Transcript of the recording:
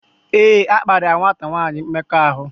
Éè, akparia nwata nwanyi mmekọahụ